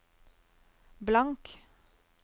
blank